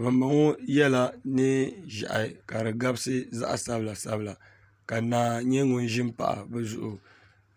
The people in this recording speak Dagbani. Bambɔŋɔ yɛla neenʒɛhi ka di gabisigabisi zaɤ'sabilasabila ka naa nyɛ ŋun ʒi m-pahi bɛ zuɤu